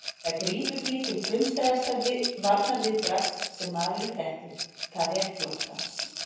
Það grípur því til frumstæðasta varnarviðbragðs sem maðurinn þekkir, það er flóttans.